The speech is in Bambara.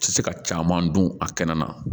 Tɛ se ka caman dun a kɛnɛ na